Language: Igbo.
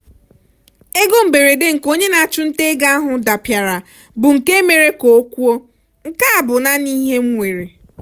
ego mberede nke onye na-achụnta ego ahụ dapịara bụ nke mere ka o kwuo " nke a bụ naanị ihe m nwere".